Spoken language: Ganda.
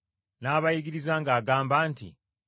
n’abayigiriza ng’agamba nti: